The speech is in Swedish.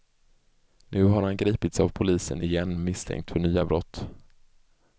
Nu har han gripits av polisen igen, misstänkt för nya brott.